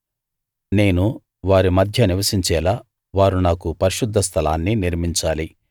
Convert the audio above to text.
నేను వారి మధ్య నివసించేలా వారు నాకు పరిశుద్ధస్థలాన్ని నిర్మించాలి